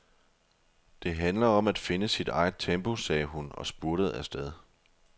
Det handler om at finde sit eget tempo, sagde hun og spurtede afsted.